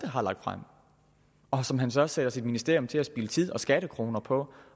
har lagt frem og som han så sætter sit ministerium til at spilde tid og skattekroner på